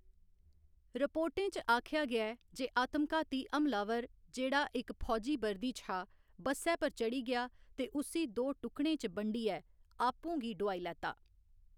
रिपोर्टें च आखेआ गेआ ऐ जे आतमघाती हम लावर, जेह्‌‌ड़ा इक फौजी वर्दी च हा, बस्सै पर चढ़ी गेआ ते उस्सी दो टुकड़ें च बंडियै आपूं गी डुआई लैता।